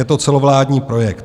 Je to celovládní projekt.